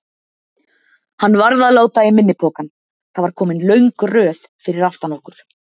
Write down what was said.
Hann varð að láta í minni pokann, það var komin löng röð fyrir aftan okkur.